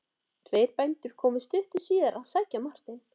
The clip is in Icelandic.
Tveir bændur komu stuttu síðar að sækja Martein.